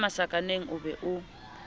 ka masakaneng o be o